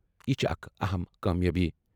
"یہِ چھِ اکھ اَہَم کامیٲبی۔